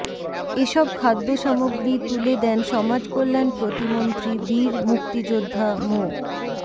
এসব খাদ্যসামগ্রী তুলে দেন সমাজকল্যাণ প্রতিমন্ত্রী বীর মুক্তিযোদ্ধা মো